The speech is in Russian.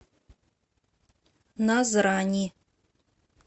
назрани